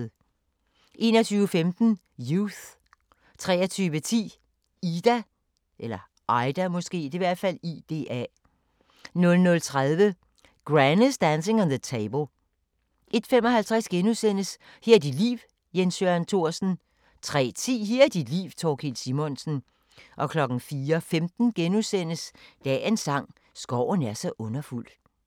21:15: Youth * 23:10: Ida 00:30: Granny's Dancing on the Table 01:55: Her er dit liv – Jens Jørgen Thorsen * 03:10: Her er dit liv - Thorkild Simonsen 04:15: Dagens sang: Skoven er så underfuld *